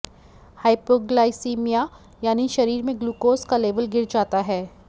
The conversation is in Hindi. हाइपोग्लाइसीमिया यानी शरीर में ग्लूकोज़ का लेवल गिर जाता है